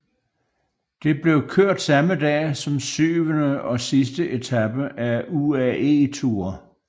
Det blev kørt samme dag som syvende og sidste etape af UAE Tour